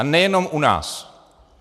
A nejenom u nás.